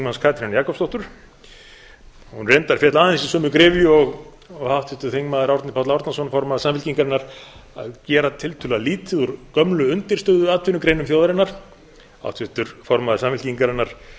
háttvirts þingmanns katrínar jakobsdóttur hún reyndar féll aðeins í sömu gryfju og háttvirtur þingmaður árni páll árnason formaður samfylkingarinnar að gera tiltölulega lítið úr gömlu undirstöðuatvinnugreinum þjóðarinnar háttvirtur formaður samfylkingarinnar